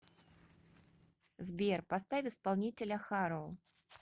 сбер поставь исполнителя харо